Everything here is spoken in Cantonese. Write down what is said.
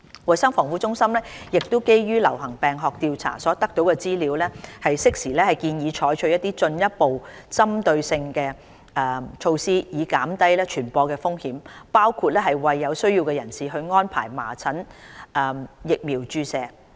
衞生防護中心亦會基於流行病學調查所得資料，適時建議採取進一步針對性的措施以減低傳播的風險，包括為有需要人士安排麻疹疫苗注射。